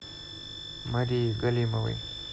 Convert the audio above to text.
марии галимовой